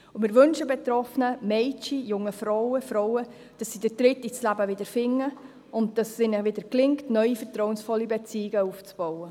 Wir wünschen den betroffenen Mädchen, jungen Frauen, Frauen, dass sie den Tritt ins Leben wieder finden und dass es ihnen wieder gelingt, neue vertrauensvolle Beziehungen aufzubauen.